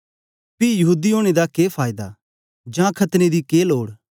पी यहूदी ओनें दा के फायदा जां खतने दी के लोड